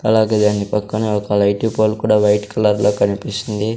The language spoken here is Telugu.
అలాగే దాని పక్కన ఒక లైటి పోల్ కూడా వైట్ కలర్లో కనిపిస్తుంది.